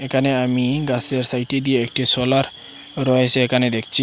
এখানে আমি গাছের সাইডে দিয়ে একটি সোলার রয়েছে এখানে দেখছি।